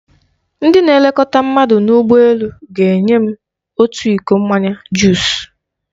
Ndị na-elekọta mmadụ n'ụgbọ elu ga-enye m otu iko mmanya juus.